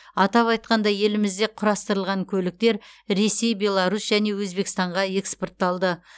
атап айтқанда елімізде құрастырылған көліктер ресей беларусь және өзбекстанға экспортталды